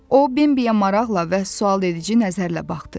O Bimbiyə maraqla və sualedici nəzərlə baxdı.